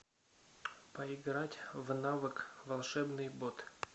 поиграть в навык волшебный бот